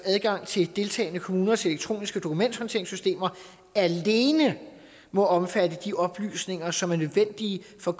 adgang til deltagende kommuners elektroniske dokumenthåndteringssystemer alene må omfatte de oplysninger som er nødvendige for